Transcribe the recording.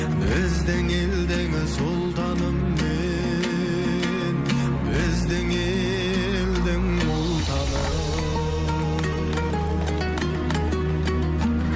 біздің елдің сұлтаны мен біздің елдің ұлтаны